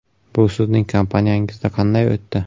Bu sizning kompaniyangizda qanday o‘tdi?